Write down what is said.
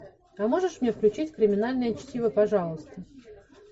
а можешь мне включить криминальное чтиво пожалуйста